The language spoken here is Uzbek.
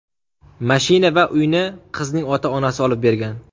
Mashina va uyni qizning ota-onasi olib bergan.